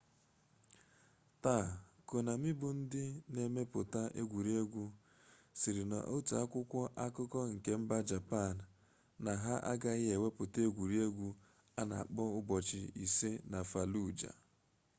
taa konami bụ dị na-emepụta egwuregwu sịrị n'otu akwụkwọ akụkọ nke mba japan na ha agaghị ewepụta egwuruegwu a na akpọ ụbọchị isii na faluja